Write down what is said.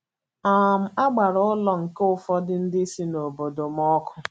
um A gbara ụlọ nke ụfọdụ ndị si n’obodo m ọkụ.